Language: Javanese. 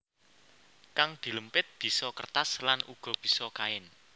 Kang dilempit bisa kertas lan uga bisa kain